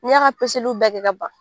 U y'a ka bɛɛ kɛ ka ban